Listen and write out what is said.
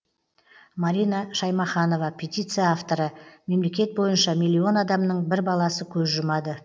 марина шаймаханова петиция авторы мемлекет бойынша миллион адамның бір баласы көз жұмады